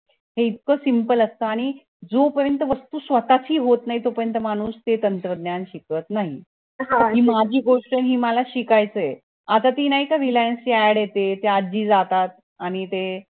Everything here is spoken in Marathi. हे इतकं simple असतं आणि जो पर्यंत वस्तू स्वतःची होत नई तो पर्यंत माणूस ते तंत्रज्ञान शिकत नाही कारण हि गोष्ट माझी आहे आणि हे मला शिकायचंय आता ती नाय का reliance ची add येते ती आज्जी जातात आणि ते